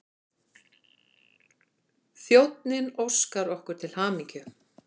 Þjónninn óskar okkur til hamingju.